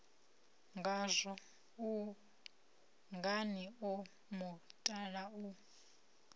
ngazwo ungani o mutala u